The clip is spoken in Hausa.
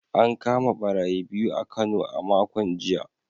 An kama barayi biyu a Kano a makon jiya